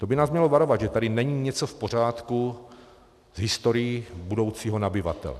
To by nás mělo varovat, že tady není něco v pořádku s historií budoucího nabyvatele.